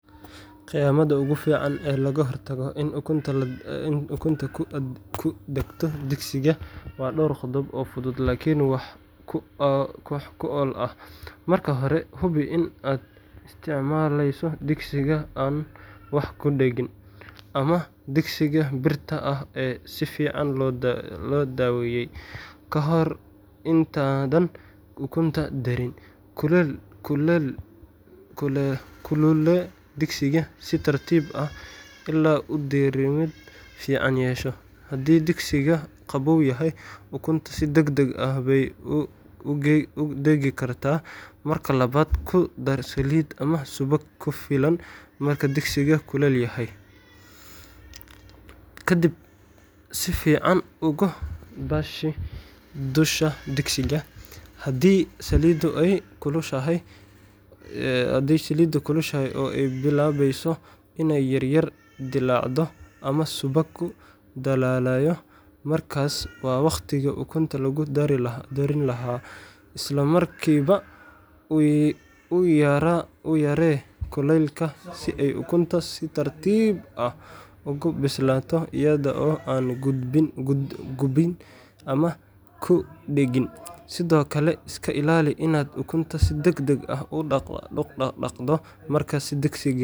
Khiyaamada ugu fiican ee looga hortago in ukunta ku dhegto digsiga waa dhowr qodob oo fudud laakiin wax ku ool ah:Marka hore, hubi in aad isticmaalayso digsiga aan wax ku dhegin ama digsiga birta ah ee si fiican loo daweeyay . Ka hor intaadan ukunta darin, kululee digsiga si tartiib ah ilaa uu diirimaad fiican yeesho haddii digsigu qaboow yahay, ukunta si degdeg ah bay u dhegi kartaa. Marka labaad, ku dar saliid ama subag ku filan marka digsiga kulul yahay, ka dibna si fiican ugu baahi dusha digsiga. Haddii saliiddu ay kulushahay oo ay bilaabayso inay yar yar dillaacdo ama subaggu dhalaalayo, markaas waa waqtigii ukunta lagu darin lahaa. Isla markiiba u yaree kuleylka si ay ukuntu si tartiib ah ugu bislaato, iyada oo aan gubin ama ku dhegin. Sidoo kale, iska ilaali inaad ukunta si degdeg ah u dhaqaaqdo markaad digsi.